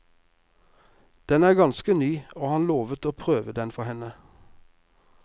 Den er ganske ny, og han lovet å prøve den for henne.